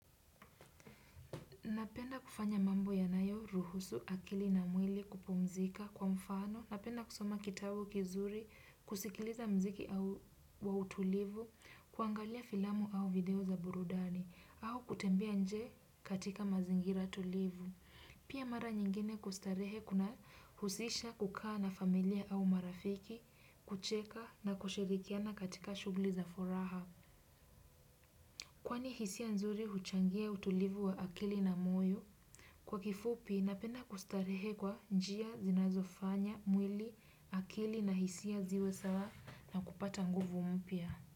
Napenda kufanya mambo yanayo, ruhusu, akili na mwili kupumzika kwa mfano. Napenda kusoma kitabu kizuri, kusikiliza mziki wa utulivu, kuangalia filamu au video za burudani, au kutembelea nje katika mazingira tulivu. Pia mara nyingine kustarehe kunahusisha kukaa na familia au marafiki, kucheka na kushirikiana katika shugli za furaha. Kwani hisia nzuri huchangia utulivu wa akili na moyo? Kwa kifupi, napenda kustarehe kwa njia zinazofanya, mwili, akili na hisia ziwe sawa na kupata nguvu mpya.